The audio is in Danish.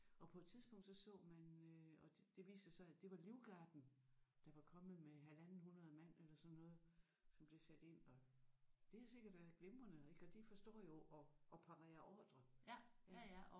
Og på et tidspunkt så så man øh og det viste sig så at det var livgarden der var kommet med halvanden 100 mand eller sådan noget som de satte ind og det havde sikkert været glimrende og ik og de forstår jo at at parere ordrer ja